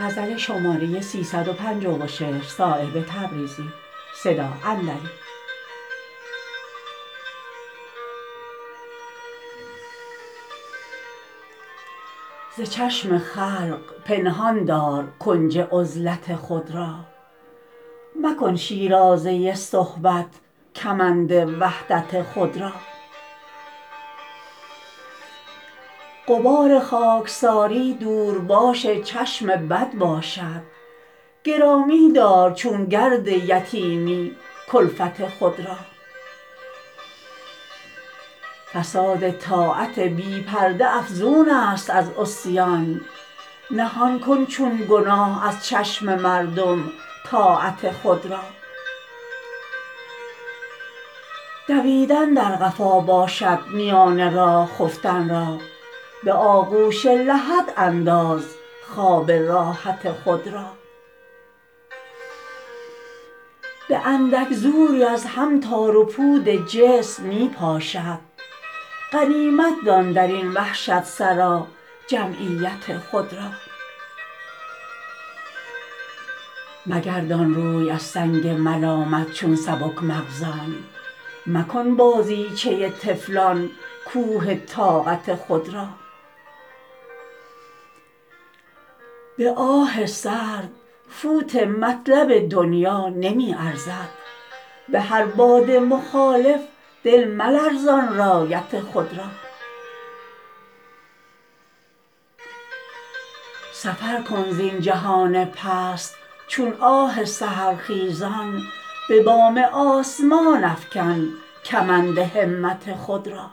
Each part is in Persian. ز چشم خلق پنهان دار کنج عزلت خود را مکن شیرازه صحبت کمند وحدت خود را غبار خاکساری دور باش چشم بد باشد گرامی دار چون گرد یتیمی کلفت خود را فساد طاعت بی پرده افزون است از عصیان نهان کن چون گناه از چشم مردم طاعت خود را دویدن در قفا باشد میان راه خفتن را به آغوش لحدانداز خواب راحت خود را به اندک زوری از هم تار و پود جسم می پاشد غنیمت دان درین وحشت سرا جمعیت خود را مگردان روی از سنگ ملامت چون سبک مغزان مکن بازیچه طفلان کوه طاقت خود را به آه سرد فوت مطلب دنیا نمی ارزد به هر باد مخالف دل ملرزان رایت خود را سفر کن زین جهان پست چون آه سحرخیزان به بام آسمان افکن کمند همت خود را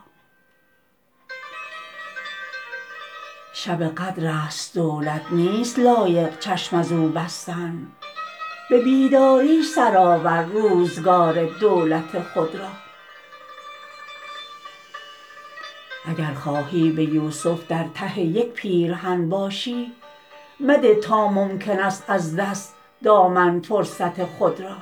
شب قدرست دولت نیست لایق چشم ازو بستن به بیداری سرآور روزگار دولت خود را اگر خواهی به یوسف در ته یک پیرهن باشی مده تا ممکن است از دست دامن فرصت خود را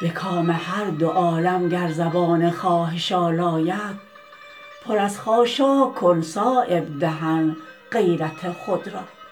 به کام هر دو عالم گر زبان خواهش آلاید پر از خاشاک کن صایب دهن غیرت خود را